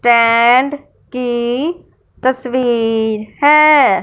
टॅंड की तस्वीर है।